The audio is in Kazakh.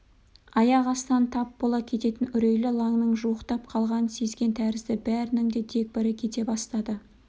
аяқ астынан тап бола кететін үрейлі лаңның жуықтап қалғанын сезген тәрізді бәрінің де дегбірі кете бастады